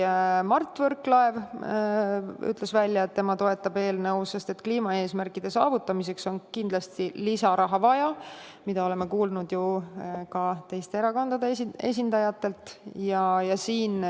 Mart Võrklaev ütles, et temagi toetab eelnõu, sest kliimaeesmärkide saavutamiseks on kindlasti lisaraha vaja, mida oleme kuulnud ju ka teiste erakondade esindajatelt.